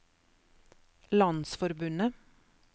landsforbundet